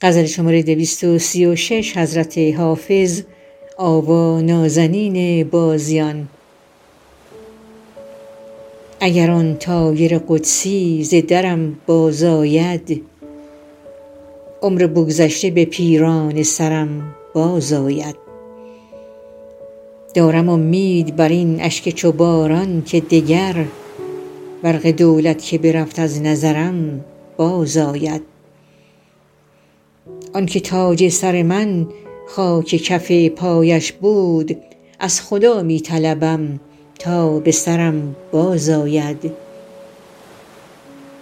اگر آن طایر قدسی ز درم بازآید عمر بگذشته به پیرانه سرم بازآید دارم امید بر این اشک چو باران که دگر برق دولت که برفت از نظرم بازآید آن که تاج سر من خاک کف پایش بود از خدا می طلبم تا به سرم بازآید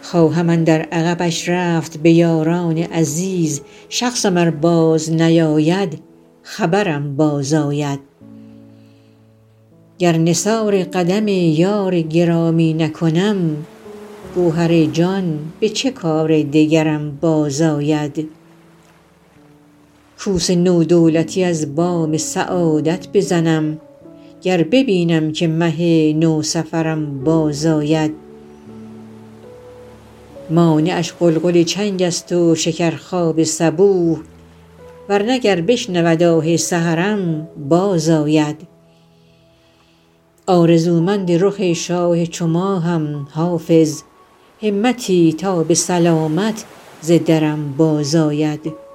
خواهم اندر عقبش رفت به یاران عزیز شخصم ار بازنیاید خبرم بازآید گر نثار قدم یار گرامی نکنم گوهر جان به چه کار دگرم بازآید کوس نو دولتی از بام سعادت بزنم گر ببینم که مه نوسفرم بازآید مانعش غلغل چنگ است و شکرخواب صبوح ور نه گر بشنود آه سحرم بازآید آرزومند رخ شاه چو ماهم حافظ همتی تا به سلامت ز درم بازآید